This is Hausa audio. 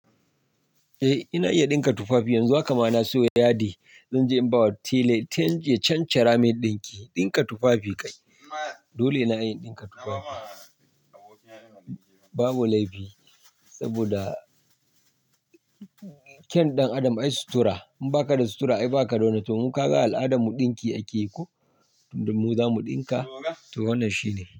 Eh ina iya ɗinka tufafi yanzu haka. Ma na siyo yadi, zan je in bawa tela, tan-- cancara mai ɗinki, ɗinka tufafi ka yi. Dole na iya ɗinka tufafi. Babu laifi saboda kyan ɗan adam ai sutura. In baka da sutura ai baka da wani. To mun kaga al'adar mu ɗinki ake ko, domin mu zamu ɗinka, to wannan shi ne.